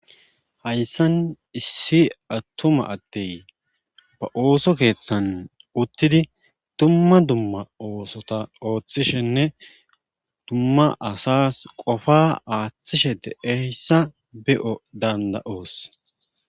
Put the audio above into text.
Hayssan issi attuma adey ba ooso keeththan uttidi dumma dumma oosotta ooththishenne dumma asas qofa aaththiishshe deeyssa be'o danda'oos